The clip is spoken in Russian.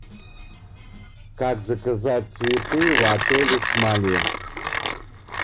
как заказать цветы в отеле смоленск